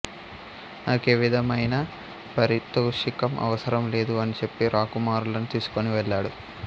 నాకేవిధమైన పారితోషికం అవసరం లేదు అని చెప్పి రాకుమారులను తీసుకొని వెళ్ళాడు